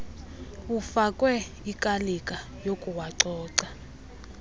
afakwe ikalika yokuwacoca